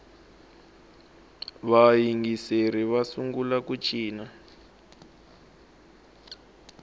vayingiseri va sungula ku cina